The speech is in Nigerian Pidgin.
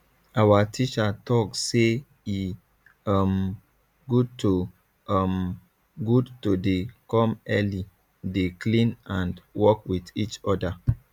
awa teacher talk say e um good to um good to dey come early dey clean and work wit each oda